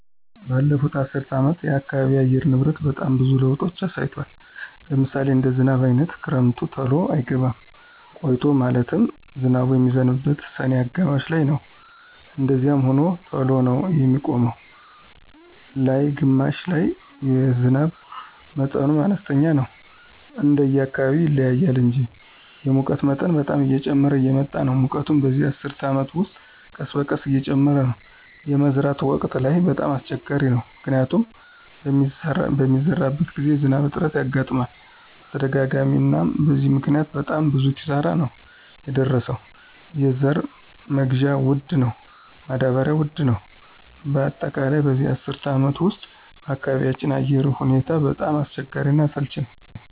በለፉት አሰር አመታት የአካባቢ አየር ንብረት በጣም ብዙዎች ለውጦች አሳይቷል። ለምሳሌ እንደ ዝናብ አይነት ክረምቱ ተሎ አይገባም ቆይቶ ማለትም ዝናብ የሚዝንበው ሰኔ አጋማሽ ላይነው እንደዛዚያም ሆኖ ተሎ ነው የሚቆመው ነላይ ግማሽ ላይ የዝናብ መጠኑም አነስተኛ ነው እንደየ አካባቢው ይለያያል እንጂ። የሙቀት መጠን በጣም እየጨመረ እየመጣ ነው ሙቀቱ በዚህ አስር አመት ውስጥ ቀስበቀስ እየጨመረ ነው። የመዝራት ወቅት ላይ በጣም አሰቸጋሪ ነው። ምክንያቱም በሚሰራበት ግዜ የዝናብ እጥረት ያጋጥመናል በተደጋጋሚ አናም በዚህ ምክኒያት በጣም ብዙ ኪሳራ ነው የደረሰው የዘራ መግዢያ ወድ ነው ማዳበሪው ውድ ነው በአጠቃላይ በዚህ አስር አመት ውስጥ በአካባቢያቸው አየር ሁኔታው በጣም አስቸጋሪ እና አሰልች ነወ።